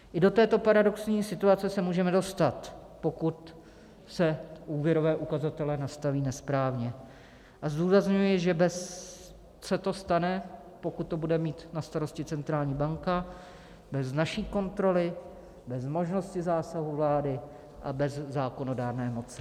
I do této paradoxní situace se můžeme dostat, pokud se úvěrové ukazatele nastaví nesprávně, a zdůrazňuji, že se to stane, pokud to bude mít na starosti centrální banka, bez naší kontroly, bez možnosti zásahu vlády a bez zákonodárné moci.